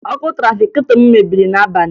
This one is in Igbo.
Ọkụ trafiketọ m mebiri n'abalị